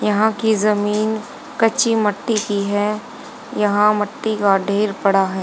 यहा की जमीन कच्ची मट्टी की है यहा मट्टी का ढेर पड़ा है।